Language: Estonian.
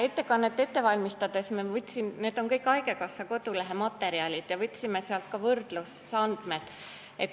Ettekannet ette valmistades ma kasutasin materjali haigekassa kodulehelt ja sealt võtsime ka võrdlusandmed.